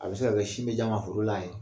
A be se ka kɛ sin be d'a ma foro la yen